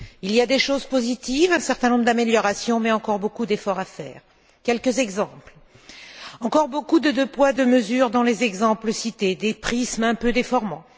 Il y a des choses positives, un certain nombre d'améliorations mais encore beaucoup d'efforts à faire. Quelques exemples encore beaucoup de deux poids, deux mesures dans les exemples cités, des prismes un peu déformants.